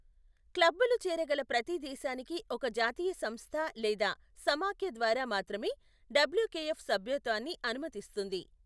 క్లబ్బులు చేరగల ప్రతి దేశానికి ఒక జాతీయ సంస్థ లేదా సమాఖ్య ద్వారా మాత్రమే డబ్ల్యుకెఎఫ్ సభ్యత్వాన్ని అనుమతిస్తుంది.